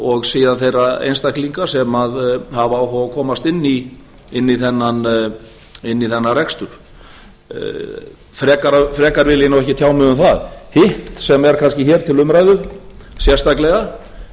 og síðan þeirra einstaklinga sem hafa áhuga á að komast inn í þennan rekstur frekar vil ég nú ekki tjá mig um það hitt sem er kannski hér til umræðu sérstaklega